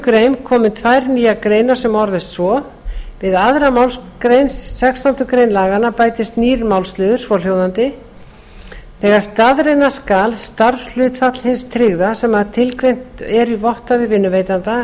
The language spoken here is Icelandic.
grein komi tvær nýjar greinar sem orðist svo við aðra málsgrein sextándu grein laganna bætist nýr málsliður svohljóðandi þegar staðreyna skal starfshlutfall hins tryggða sem tilgreint er í vottorði vinnuveitanda